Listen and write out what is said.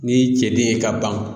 Ni ye cɛden ye ka ban